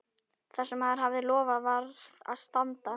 Það sem maður hafði lofað varð að standa.